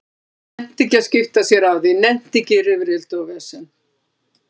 Nennti ekki að skipta sér af því, nennti ekki í rifrildi og vesen.